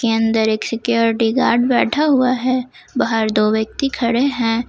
अन्दर एक security guard बैठा हुआ है बाहर दो व्यक्ति खड़े हैं।